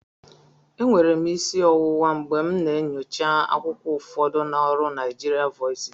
Enwere m isi ọwụwa mgbe m na-enyocha akwụkwọ ụfọdụ na ọrụ NaijaVoices